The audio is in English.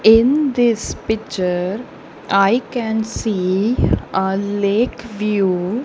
in this picture i can see a lake view.